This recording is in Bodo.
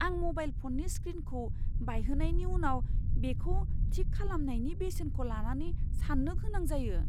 आं म'बाइल फ'ननि स्क्रिनखौ बायहोनायनि उनाव बेखौ थिक खालामनायनि बेसेनखौ लानानै साननो गोनां जायो।